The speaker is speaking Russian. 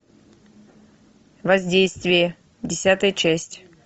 воздействие десятая часть